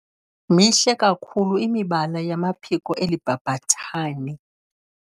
Mihle kakhulu imibala yamaphiko eli bhabhathane.